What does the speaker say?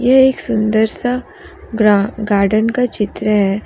ये एक सुंदर सा ग्रा गार्डन का चित्र है।